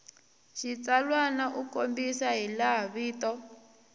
xitsalwana u kombisa hilaha vito